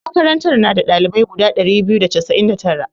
Makarantar na da ɗalibai guda ɗari biyu da casa'in da tara.